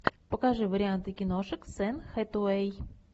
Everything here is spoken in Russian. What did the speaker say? покажи варианты киношек с энн хэтэуэй